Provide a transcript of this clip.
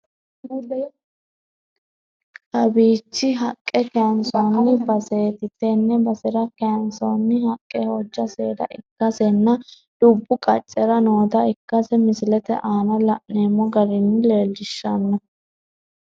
Kawiichi haqqe kaaynsoonni baseeti tenne basera kaayinsoonni haqqe hojja seeda ikkase nna dubbu qaccera noota ikkase Misilete aana la'neemmo gari leellishshanno.